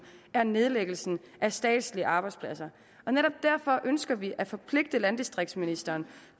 er nedlæggelsen af statslige arbejdspladser netop derfor ønsker vi at forpligte landdistriktsministeren